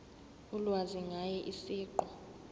ulwazi ngaye siqu